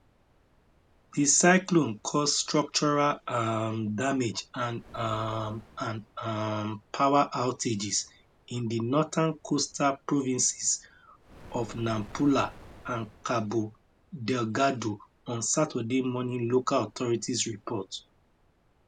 di cyclone cause structural um damage and um and um power outages in di northern coastal provinces of nampula and cabo delgado on saturday morning local authorities report